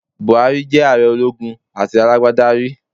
Buhari ti jé ààre ológun àti alágbádá rí